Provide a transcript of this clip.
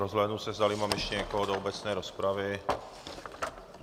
Rozhlédnu se, zdali mám ještě někoho do obecné rozpravy.